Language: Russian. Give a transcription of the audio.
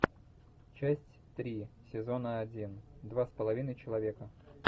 часть три сезона один два с половиной человека